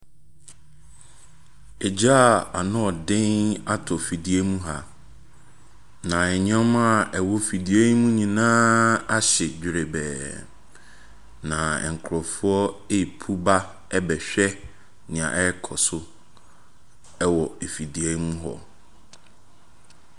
Egya a ano yɛ den atɔ fidua mu ha, na nneɛma a ɛwɔ fidua yi mu ha nyinaa ahye dwerebɛɛ, na nkurɔfoɔ repu ba bɛhwɛ deɛ ɛrekɔ so wɔ fidua yi mu hɔ.